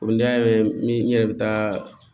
ne y'a mɛn ni n yɛrɛ bɛ taa